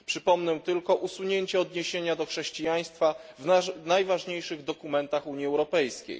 Przypomnę tylko usunięcie odniesienia do chrześcijaństwa w najważniejszych dokumentach Unii Europejskiej.